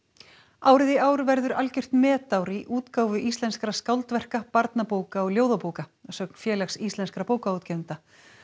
árið í ár verður algjört metár í útgáfu íslenskra skáldverka barnabóka og ljóðabóka að sögn Félags íslenskra bókaútgefenda